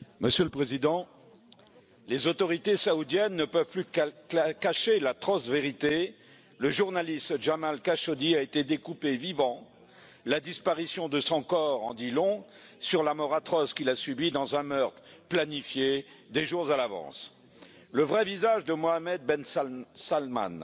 Monsieur le Président, les autorités saoudiennes ne peuvent plus cacher l'atroce vérité le journaliste Jamal Khashoggi a été découpé vivant et la disparition de son corps en dit long sur le sort atroce qu'il a subi, victime d'un meurtre planifié des jours à l'avance. Le vrai visage de Mohamed Ben Salman,